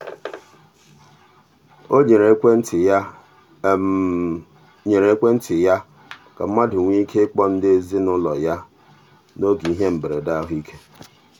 o nyere ekwentị ya nyere ekwentị ya ka mmadụ nwee ike ịkpọ ndị ezinụụlọ ya n'oge ihe mberede ahụike.